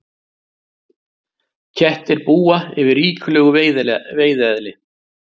Kettir búa yfir ríkulegu veiðieðli.